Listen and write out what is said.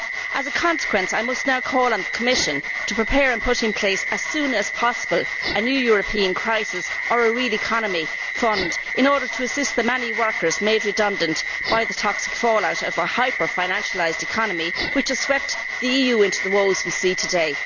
As a consequence, I must now call on the Commission to prepare and put in place, as soon as possible, a new European crisis fund or a real economy fund in order to assist the many workers made redundant by the toxic fallout of our hyper financialised economy, which has swept the EU into the woes we see today.